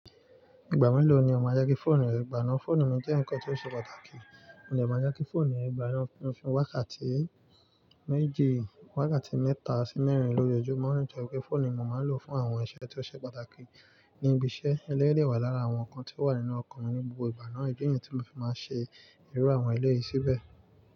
Ìgbà mélòó ni o ma jẹ́ kí fóònù rẹ gbà ná? Fóònù mi jẹ́ ǹkan ti ṣe pàtàkì, mo de máa jẹ́ kí fóònù mi gbà ná fún wákàtí méje, wákàtí mẹ́ta sí mẹ́rin lójoojúmọ́. Rántí pé, fóònù ni mo máa ń lò fún àwọn iṣẹ́ tí ó ṣe pàtàkì ní ibi iṣẹ́, ẹlẹ́yi wà lára àwọn nǹkan tí ó wà nínú ọkùnrin ní gbogbo ìgbà náà, ìdí niyi tí mo fi máa ń ṣe ìruàwọn ẹlẹ́yi síbẹ̀.